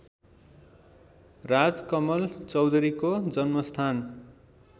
राजकमल चौधरीको जन्मस्थान